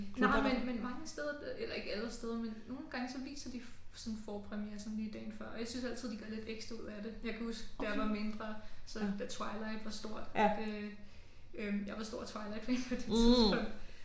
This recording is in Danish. Nej men men mange steder der eller ikke alle steder men nogle gange så viser de sådan forpremiere sådan lige dagen før og jeg synes altid de gør lidt ekstra ud af det. Jeg kan huske da jeg var mindre så da Twilight var stort der øh jeg var stor Twilightfan på det tidspunkt